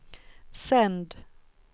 sänd